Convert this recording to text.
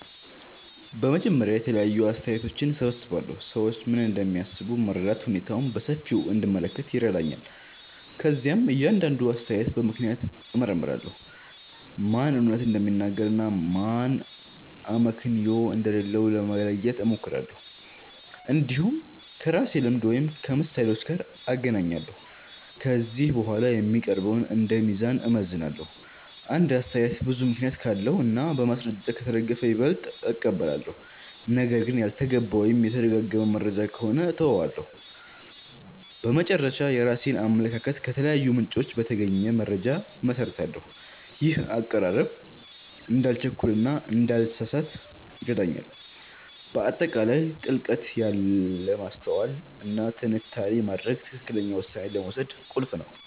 በመጀመሪያ የተለያዩ አስተያየቶችን እሰብስባለሁ። ሰዎች ምን እንደሚያስቡ መረዳት ሁኔታውን በሰፊው እንድመለከት ይረዳኛል። ከዚያም እያንዳንዱን አስተያየት በምክንያት እመርምራለሁ፤ ማን እውነት እንደሚናገር እና ማን አመክንዮ እንደሌለው ለመለየት እሞክራለሁ። እንዲሁም ከራሴ ልምድ ወይም ከምሳሌዎች ጋር እናገናኛለሁ። ከዚህ በኋላ የሚቀረውን እንደ ሚዛን እመዝናለሁ። አንድ አስተያየት ብዙ ምክንያት ካለው እና በማስረጃ ከተደገፈ ይበልጥ እቀበላለሁ። ነገር ግን ያልተገባ ወይም የተደጋጋሚ መረጃ ከሆነ እተወዋለሁ። በመጨረሻ፣ የራሴን አመለካከት ከተለያዩ ምንጮች በተገኘ መረጃ እመሰርታለሁ። ይህ አቀራረብ እንዳልቸኩል እና እንዳልተሳሳት ይረዳኛል። በአጠቃላይ ጥልቀት ያለ ማስተዋል እና ትንታኔ ማድረግ ትክክለኛ ውሳኔ ለመውሰድ ቁልፍ ነው